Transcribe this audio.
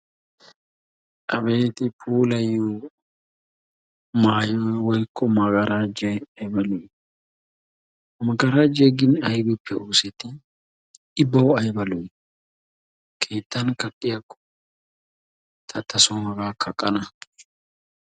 Abeeti! Puulayiyo maayoy woykko magarajjay aybba lo"i! Magarajjay gin aybbippe ooseti? I bawu aybba lo"i! Keettan kaqqiyaakko ta taasoon hagaa kaqqana.